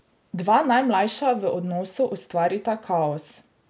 Dva najmlajša v odnosu ustvarita kaos.